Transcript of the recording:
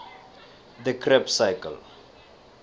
the krebb cycle